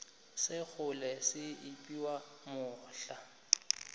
sa kgole se epiwa mohla